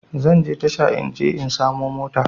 Zanje tasha in je in samo mota